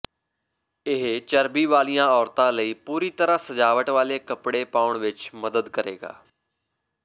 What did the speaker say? ਇਹ ਚਰਬੀ ਵਾਲੀਆਂ ਔਰਤਾਂ ਲਈ ਪੂਰੀ ਤਰ੍ਹਾਂ ਸਜਾਵਟ ਵਾਲੇ ਕੱਪੜੇ ਪਾਉਣ ਵਿੱਚ ਮਦਦ ਕਰੇਗਾ